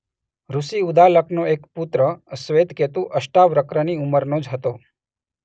ઋષિ ઉદાલકનો એક પુત્ર શ્વેતકેતુ અષ્ટાવક્રની ઉંમરનો જ હતો.